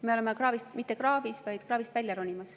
Me ei ole mitte kraavis, vaid oleme kraavist välja ronimas.